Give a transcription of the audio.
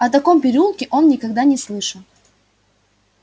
о таком переулке он никогда не слышал